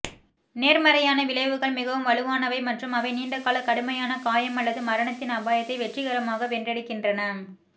நேர்மறையான விளைவுகள் மிகவும் வலுவானவை மற்றும் அவை நீண்ட கால கடுமையான காயம் அல்லது மரணத்தின் அபாயத்தை வெற்றிகரமாக வென்றெடுக்கின்றன